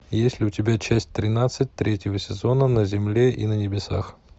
есть ли у тебя часть тринадцать третьего сезона на земле и на небесах